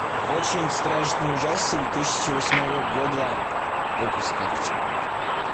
очень страшный ужастик две тысячи восьмого года выпуска